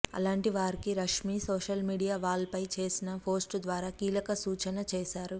అలాంటి వారికి Rashmi social media wall పై చేసిన పోస్ట్ ద్వారా కీలక సూచన చేశారు